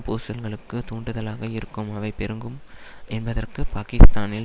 பூசல்களுக்கு தூண்டுதலாக இருக்கும் அவை பெருங்கும் என்பதற்கு பாக்கிஸ்தானில்